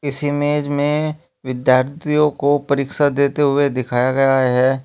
इस इमेज में विद्यार्थियों को परीक्षा देते हुए दिखाया गया है।